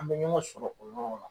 An bɛ ɲɔgɔn sɔrɔ o yɔrɔ la.